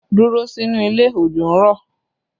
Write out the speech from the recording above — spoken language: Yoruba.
Dúró sínú ilé! Òjò ń rọ̀!